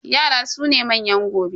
Yara su ne manyan gobe.